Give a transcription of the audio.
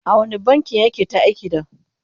a wani bankin yake ta aiki da?